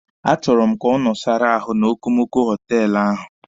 A chọrọ m ka ọ nọsara ahụ n'okomoko họtelụ ahụ.